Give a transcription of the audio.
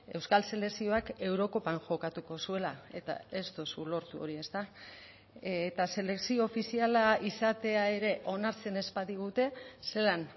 euskal selekzioak eurokopan jokatuko zuela eta ez duzu lortu hori ezta eta selekzio ofiziala izatea ere onartzen ez badigute zelan